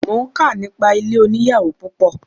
Mo ń kà nípa ilé oníyàwò púpọ̀.